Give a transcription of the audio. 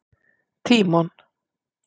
Tímon